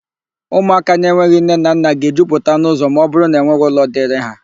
Ụmụaka na-enweghị nne na nna ga-ejupụta n'ụ́zọ̀ ma ọbụrụ na enweghị ụlọ dịịrị ha.